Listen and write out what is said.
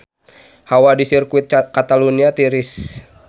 Hawa di Sirkuit Catalunya tiris